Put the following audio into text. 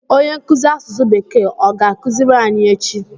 Onye nkuzi asụsụ bekee ọ ga-akụziri anyị echi?